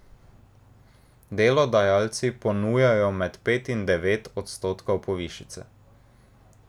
Delodajalci ponujajo med pet in devet odstotkov povišice.